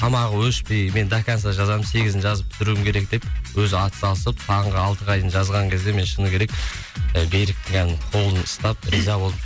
тамағы өшпей мен до конца жазамын сегізін жазып бітіруім керек деп өзі ат салысып таңғы алтыға дейін жазған кезде мен шыны керек і беріктің колын ұстап риза болдым